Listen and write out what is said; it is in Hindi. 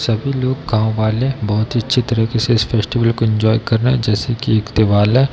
सभी लोग गांव वाले बहोत ही अच्छी तरीके से इस फेस्टिवल को एन्जॉय कर रहे हैं जैसे की एक है।